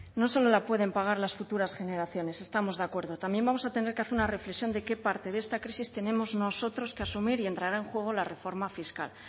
no solo la pueden pagar las futuras generaciones estamos de acuerdo también vamos a tener que hacer una reflexión de qué parte de esta crisis tenemos nosotros que asumir y entrará en juego la reforma fiscal